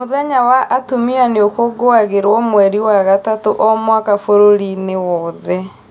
Mũthenya wa atumia nĩ ũkũngũagirwo mweri wa gatatu o mwaka bũrũri-inĩ wothe